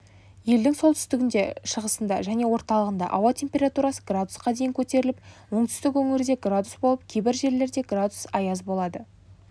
елдің солтүстігінде шығысында және орталығында ауа температурасы градусқа дейін көтеріліп оңтүстік өңірде градус болып кейбір жерлерде градус аяз болады